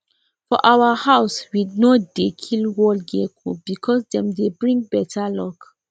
for our house we no dey kill wall gecko because dem dey bring better luck